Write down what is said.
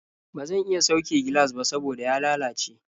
Ba zan iya sauke gilas ba saboda ya lalace.